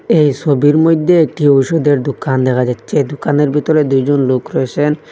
এই সবির মইদ্যে একটি ওষুধের দুকান দেখা যাচ্ছে দুকানের ভিতরে দুইজন লোক রয়েসেন।